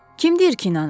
Kim deyir ki inanıb?